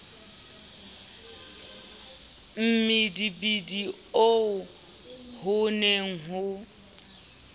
mmidimidi oo ho ne ho